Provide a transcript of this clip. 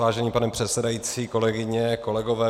Vážený pane předsedající, kolegyně, kolegové.